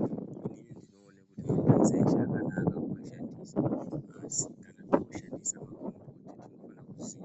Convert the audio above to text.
Inini ndinoona kuti magomboti eshe akanaka kumashandisa asi kana wonashandisa unofana kuziya kuti magomboti